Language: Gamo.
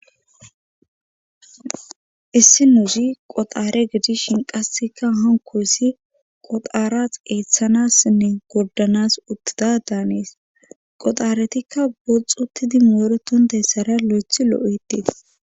issinozi qoxaare gidishin qassikka hankossi qoxara eeththanassinne gordanas uttida daanees qoxaaretikka boxxi uttidi mooretonteyssara lo7ethi lo7ettees